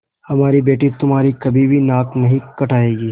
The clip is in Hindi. हमारी बेटी तुम्हारी कभी भी नाक नहीं कटायेगी